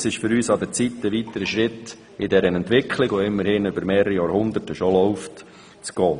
Es ist an der Zeit, einen weiteren Schritt auf diesem Weg, auf dem wir immerhin schon seit mehreren Jahrhunderten unterwegs sind, zu gehen.